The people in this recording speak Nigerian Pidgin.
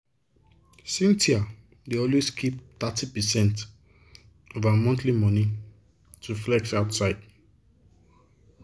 cynthia dey always keep thirty percent of her monthly money to flex outside.